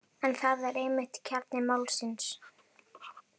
En það er einmitt kjarni málsins.